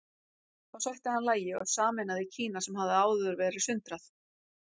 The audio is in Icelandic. Þá sætti hann lagi og sameinaði Kína sem hafði áður verið sundrað.